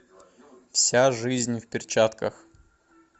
вся жизнь в перчатках